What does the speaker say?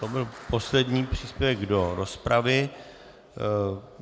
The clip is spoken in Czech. To byl poslední příspěvek do rozpravy.